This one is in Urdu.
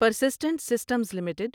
persistent systems limited